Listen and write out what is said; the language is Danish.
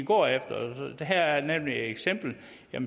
går efter her er nemlig et eksempel